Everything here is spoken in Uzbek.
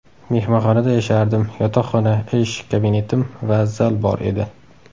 Mehmonxonada yashardim: yotoqxona, ish kabinetim va zal bor edi.